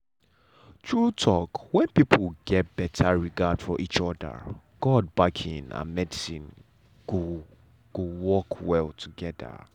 true talk when people get better regard for each other god backing and medicine go go work well together.